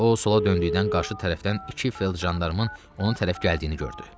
O sola döndükdən qarşı tərəfdən iki feldjandarmın onu tərəf gəldiyini gördü.